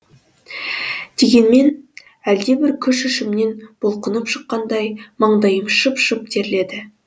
дегенмен әлдебір күш ішімнен бұлқынып шыққандай маңдайым шып шып терледі